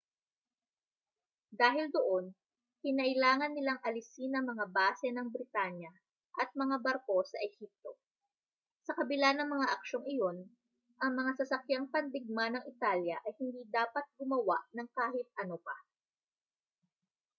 dahil doon kinailangan nilang alisin ang mga base ng britanya at mga barko sa ehipto sa kabila ng mga aksyong iyon ang mga sasakyang pandigma ng italya ay hindi dapat gumawa ng kahit ano pa